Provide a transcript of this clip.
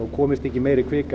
komist ekki meiri kvika